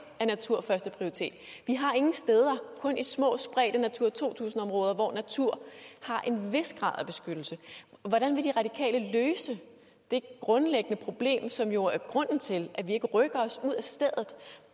er natur førsteprioritet vi har ingen steder kun små spredte natura to tusind områder hvor naturen har en vis grad af beskyttelse hvordan vil de radikale løse det grundlæggende problem som jo er grunden til at vi ikke rykker os ud af stedet